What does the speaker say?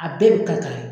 A bɛɛ bɛ kari kari